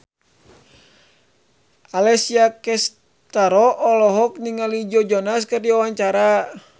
Alessia Cestaro olohok ningali Joe Jonas keur diwawancara